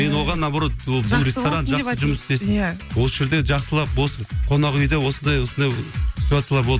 мен оған наоборот ол жақсы жұмыс істесін осы жерде жақсылап болсын қонақ үйде осындай осындай ситуациялар болды